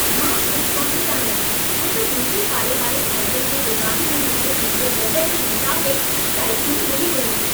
मां उत्साहितु आहियां छो त मुंहिंजे पाड़े वारे साइकल जे दुकान में मूंखे पंहिंजे बजट जे मुताबिक़ु साइकलूं मिली वयूं।